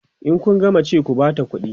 in Kun gama ci ku Bata ƙuɗi